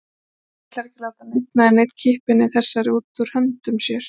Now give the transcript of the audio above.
Hann ætlar ekki að láta einn eða neinn kippa henni þessari út úr höndum sér.